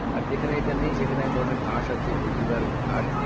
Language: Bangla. আর যেখানে এটা নেই সেখানে একধরনের ঘাস আছে ভেটিভার ঘাস